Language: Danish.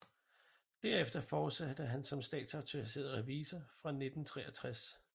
Derefter fortsatte han som statsautoriseret revisor fra 1963